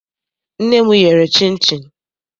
Nne m yere chịnchịn.